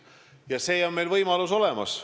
Ja see võimalus on olemas.